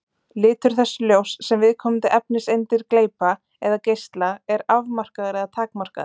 Litur þess ljóss sem viðkomandi efniseindir gleypa eða geisla er afmarkaður eða takmarkaður.